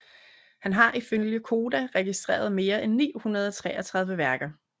Han har ifølge Koda registreret mere end 933 værker